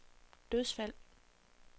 dødsfald